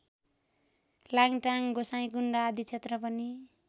लाङटाङ गोसाइँकुण्ड आदि क्षेत्र पनि